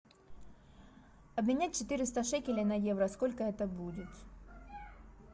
обменять четыреста шекелей на евро сколько это будет